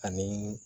Ani